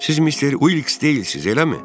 Siz mister Uiks deyilsiz, eləmi?